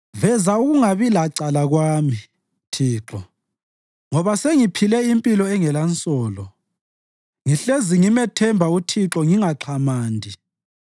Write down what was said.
Veza ukungabi lacala kwami, Thixo, ngoba sengiphile impilo engelansolo; ngihlezi ngimethemba uThixo ngingaxhamandi.